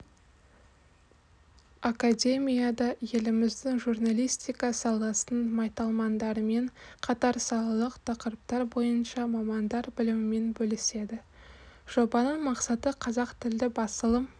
академияда еліміздің журналистика саласының майталмандарымен қатар салалық тақырыптар бойынша мамандар білімімен бөліседі жобаның мақсаты қазақтілді басылым